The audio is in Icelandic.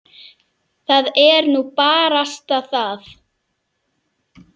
Það er nú barasta það.